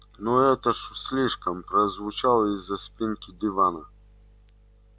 ну это уж слишком прозвучало из-за спинки дивана